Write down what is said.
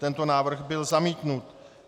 Tento návrh byl zamítnut.